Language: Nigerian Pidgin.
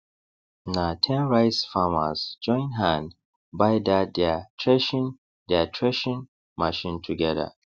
na ten rice farmers join hand buy dat deir threshing deir threshing machine together